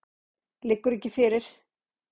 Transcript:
Liggur ekki fyrir.